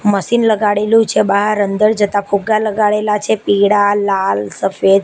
Machine લગાડેલું છે બાર અંદર જતા ફુગ્ગા લગાડેલા છે પીડા લાલ સફેદ.